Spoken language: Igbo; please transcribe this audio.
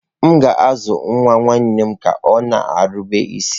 M ga-azụ nwa nwanne m ka ọ na-erube isi.